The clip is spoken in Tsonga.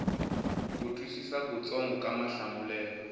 ku twisisa kutsongo ka mahlamulelo